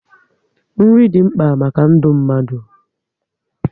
Nri dị mkpa maka ndụ mmadụ